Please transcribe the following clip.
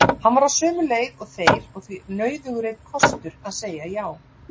Hann var á sömu leið og þeir og því nauðugur einn kostur að segja já.